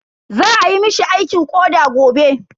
Za ayi mishi aikin koɗa gobe.